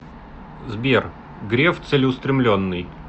сбер греф целеустремленный